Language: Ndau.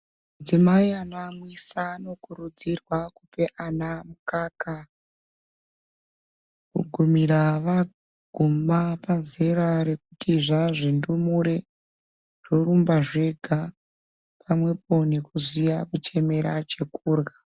Madzimai anoamwisa anokurudzirwa kupe ana mukaka gumira vaguma pazera rekuti zvazvindumure zvorumba zvega pamwepo nekuziya kuchemera chekurya.